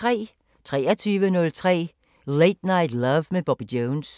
23:03: Late Night Love med Bobby Jones